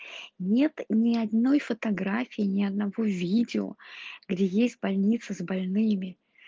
нет ни одной фотографии ни одного видео где есть больница с больными